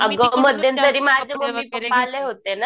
अगं मध्यंतरी माझे मम्मी पप्पा आले होते न